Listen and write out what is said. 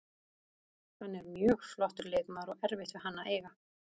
Hann er mjög flottur leikmaður og erfitt við hann að eiga.